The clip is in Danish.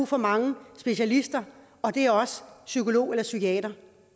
for mange specialister og det er også psykologer eller psykiatere